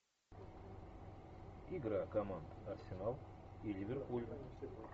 игра команд арсенал и ливерпуль